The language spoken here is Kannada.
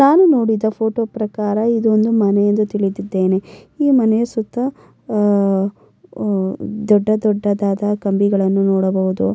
ನಾನು ನೋಡಿದ ಫೋಟೋ ಪ್ರಕಾರ ಇದೊಂದು ಮನೆ ಎಂದು ತಿಳಿದಿದ್ದ್ದೆನೆ ಈ ದೊಡ್ಡದಾದ ಕಂಬಿಗಳನ್ನು ನೋಡಬಹುದು.